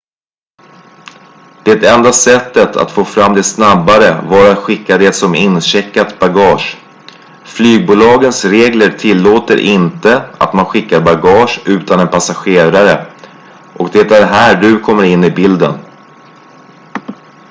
det enda sättet att få fram det snabbare var att skicka det som incheckat bagage flygbolagens regler tillåter inte att man skickar bagage utan en passagerare och det är här du kommer in i bilden